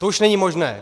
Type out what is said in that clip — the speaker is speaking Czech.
To už není možné.